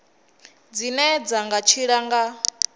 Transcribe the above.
dzine dzi nga tshila nga